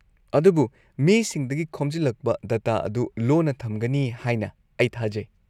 -ꯑꯗꯨꯕꯨ ꯃꯤꯁꯤꯡꯗꯒꯤ ꯈꯣꯝꯖꯤꯜꯂꯛꯄ ꯗꯇꯥ ꯑꯗꯨ ꯂꯣꯟꯅ ꯊꯝꯒꯅꯤ ꯍꯥꯏꯅ ꯑꯩ ꯊꯥꯖꯩ?